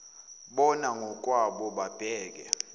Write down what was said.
bona ngokwabo babheke